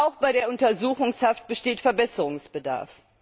Und auch bei der Untersuchungshaft besteht Verbesserungsbedarf.